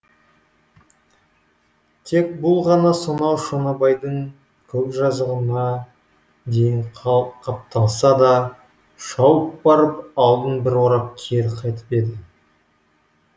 тек бұл ғана сонау шонабайдың көк жазығына дейін қапталдаса шауып барып алдын бір орап кері қайтып еді